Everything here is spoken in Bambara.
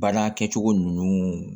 Baara kɛcogo ninnu